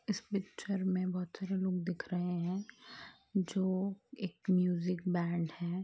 इस पिक्चर मे बहुत से लोग दिख रहे है जो म्यूजिक बैंड है।